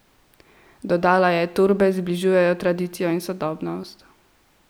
Dodala je: "Torbe zbližujejo tradicijo in sodobnost.